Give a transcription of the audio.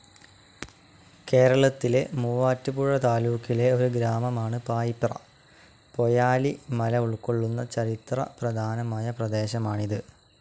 കേരളത്തിലെ മൂവാറ്റുപുഴ താലൂക്കിലെ ഒരു ഗ്രാമമാണ്‌ പായിപ്ര. പൊയാലി മല ഉൾക്കൊള്ളുന്ന ചരിത്ര പ്രധാനമയ പ്രദേശമാണിത്.